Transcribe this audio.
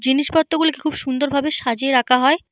জিনিস পত্র গুলিকে খুব সুন্দর ভাবে সাজিয়ে রাখা হয়।